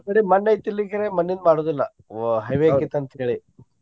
ನಮ್ಮ್ ಕಡೆ ಮಣ್ಣ ಐತಿ ಇಲ್ಲಿ ಈಕಡೆ ಕರೆ ಮಣ್ಣಿಂದ ಮಾಡೊದಿಲ್ಲಾ ಓ heavy ಆಕ್ಕೇತಿ ಅಂತ ಹೇಳಿ.